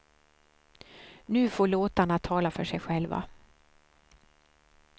Nu får låtarna tala för sig själva.